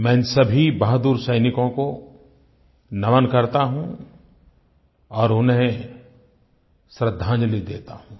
मैं इन सभी बहादुर सैनिकों को नमन करता हूँ और उन्हें श्रद्धांजलि देता हूँ